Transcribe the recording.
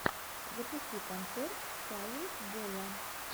запусти концерт фае боя